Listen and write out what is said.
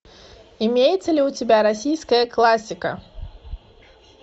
имеется ли у тебя российская классика